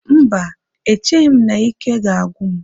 Mba, echeghị m na ike ga-agwụ m